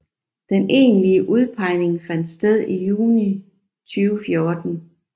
Den egentlige udpegning fandt sted i juni 2014